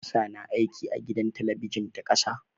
Hafsah na aiki a gidan talabijin ta ƙasa.